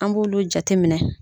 An b'olu jate minɛ.